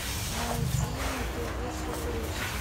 найди на тв супер эйч ди